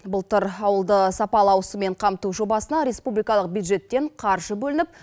былтыр ауылды сапалы ауызсумен қамту жобасына республикалық бюджеттен қаржы бөлініп